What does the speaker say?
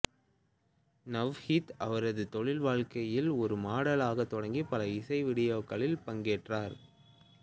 நவ்ஹீத் அவரது தொழில்வாழ்க்கையை ஒரு மாடலாகத் தொடங்கி பல இசை வீடியோக்களில் பங்கேற்றார்